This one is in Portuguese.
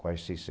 Quase